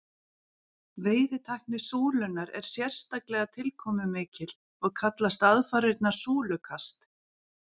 Veiðitækni súlunnar er sérstaklega tilkomumikil og kallast aðfarirnar súlukast.